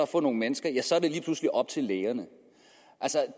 for nogle mennesker så er det lige pludselig op til lægerne